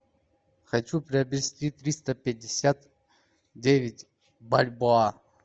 хочу приобрести триста пятьдесят девять бальбоа